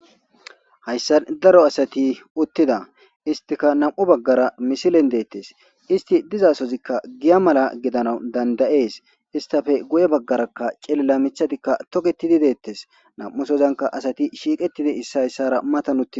hayssan daro asati uttida istika nam7u baggara misilen dettes isti dizasozikka giya mala gidana dandayees istafe guye baggarakka celila michatikka togetidi deettes nam7usozanka asati shiiqetidi issa hayssara matan utidi